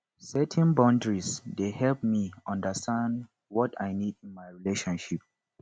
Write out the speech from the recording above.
setting boundaries dey help me understand what i need in my relationships